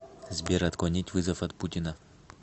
сбер отклонить вызов от путина